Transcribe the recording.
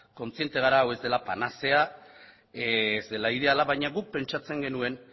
kontziente gara hau ez dela panazea ez dela ideala baina guk pentsatzen genuen